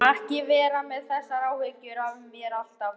Ekki vera með þessar áhyggjur af mér alltaf!